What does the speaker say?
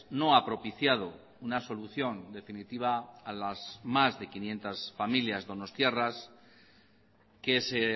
no ha propiciado una solución definitiva a las más de quinientos familias donostiarras que se